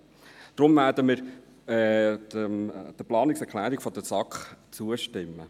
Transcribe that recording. Deshalb werden wir der Planungserklärung der SAK zustimmen.